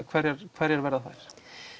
hverjar hverjar verða þær